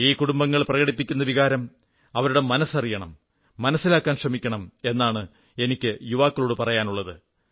ഈ കുടുംബങ്ങൾ പ്രകടിപ്പിക്കുന്ന വികാരം അവരുടെ മനസ്സ് അറിയണം മനസ്സിലാക്കാൻ ശ്രമിക്കണം എന്നാണ് എനിക്ക് യുവാക്കളോടു പറയാനുള്ളത്